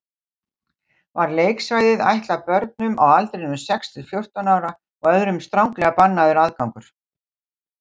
Var leiksvæðið ætlað börnum á aldrinum sex til fjórtán ára og öðrum stranglega bannaður aðgangur.